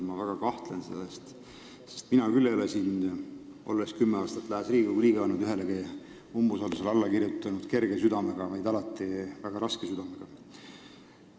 Ma väga kahtlen selles, sest mina küll ei ole, olles kümme aastat Riigikogu liige olnud, ühelegi umbusaldusavaldusele alla kirjutanud kerge südamega, vaid alati väga raske südamega.